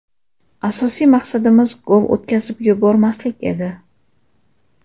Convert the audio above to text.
Asosiy maqsadimiz gol o‘tkazib yubormaslik edi.